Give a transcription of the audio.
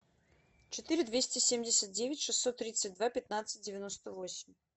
четыре двести семьдесят девять шестьсот тридцать два пятнадцать девяносто восемь